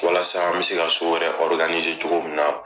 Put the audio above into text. Walasa an bɛ se ka wɛrɛ cogo min na.